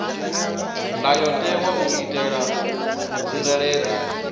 ndayotewa u itela u tsireledza